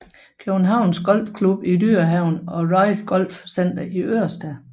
Københavns Golf Klub i Dyrehaven og Royal Golf Center i Ørestad